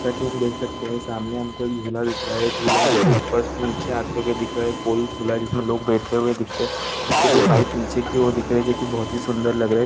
जैसा की हम देख सकते है सामने हमको एक झूला दिख रहा है झूला हमको ऊपर से नीचे आते हुए दिख रहा है एक गोल झूला जिसमे लोग बैठे हुए दिखते इसके दो पाइप नीचे की ओर दिख रहे है जो की बहोत सुंदर लग रहे है।